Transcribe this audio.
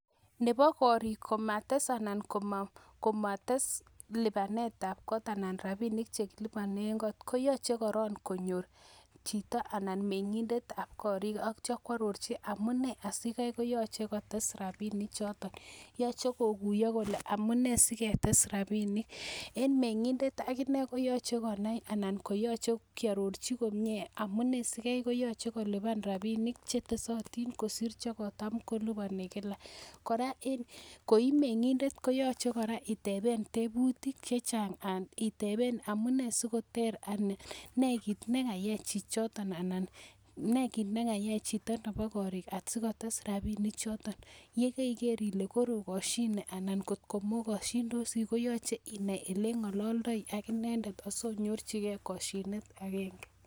Nebo koring komotes lipanetab kot anan rabinik che kiliponen got koyoche korong konyor chito anan ko meng'indet ab korik ak kityo koarorcchi amun nee asikai koyoche kotes rabinik choto. Yoche koguiyo koleamune sigetes rabinik. En meng'indet ak inee koyoche konai anan koyoche kiarorji komye amune asikai koyoch ekolipan rapinik che tesotin kosir che kotam kolipani kila. Kora koi meng'indet koyoche kora iteben tebutik chechang, anan iteben amune asikoter anan ne kit ne kayai chichoto anan ne kit nekayai chito nebo koring sikotes rabinik choto. Ye keriger kole karokoshine anan kot ko mogoshindosi ko yoch einai ole ng'ololdoi ak inendet asionyorjige koshinet agenge.